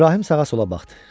İbrahim sağa-sola baxdı.